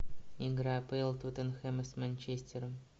игра апл тоттенхэма с манчестером